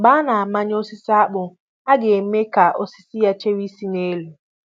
Mgbe a na-amanye osisi akpụ ,a ga eme ka osisi ya chewe isi n'elu